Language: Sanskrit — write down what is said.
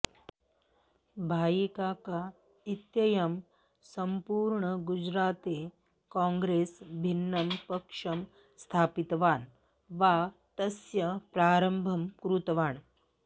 भाईकाका इत्ययं सम्पूर्णे गुजराते कॉग्रेस् भिन्नं पक्षं स्थापितवान् वा तस्य प्रारम्भं कृतवान्